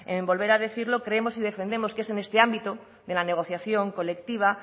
en volver a decirlo creemos y defendemos que es en este ámbito de la negociación colectiva